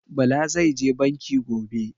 Bala zai je Banki gobe